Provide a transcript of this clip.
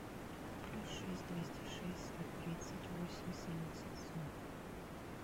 плюс шесть двести шесть сто тридцать восемь семьдесят сорок